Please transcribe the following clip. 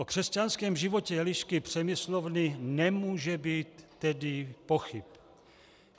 O křesťanském životě Elišky Přemyslovny nemůže být tedy pochyb.